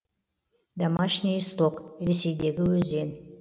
домашний исток ресейдегі өзен